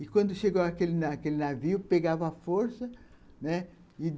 E, quando chegou aquele aquele navio, pegava a força, né